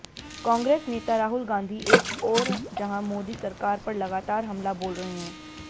कांग्रेस नेता राहुल गांधी एक ओर जहां मोदी सरकार पर लगातार हमला बोल रहे हैं